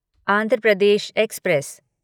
Andhra Pradesh express